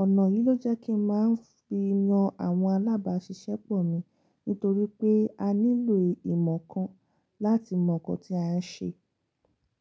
Ọ̀nà yìí ló jẹ́ kí ń máa ń fi yan àwọn alábáàṣiṣẹ́ pọ̀ mi nítorí pé a nílò ìmọ̀ kan láti mọ̀ nǹkan tí a ń ṣe.